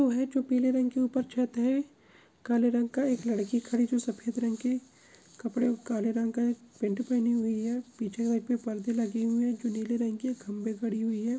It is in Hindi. ओ है जो पिले रंग की ऊपर छत है काले रंग का एक लड़की खड़ी जो सफ़ेद रंग के कपड़े उ काले रंग के पैंट पहनी हुई है पीछे साइक पे परदे लगे हुए है जो नीले रंग के है खम्भे खड़ी हुई है।